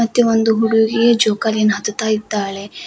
ಮತ್ತೆ ಒಂದು ಹುಡುಗಿ ಜೋಕಾಲಿಯನ್ನು ಹತ್ತುತ್ತಿದ್ದಾಳೆ.